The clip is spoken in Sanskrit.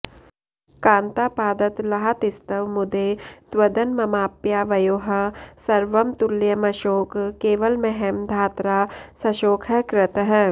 कान्तापादतलाहतिस्तव मुदे तद्वन्ममाप्यावयोः सर्वं तुल्यमशोक केवलमहं धात्रा सशोकः कृतः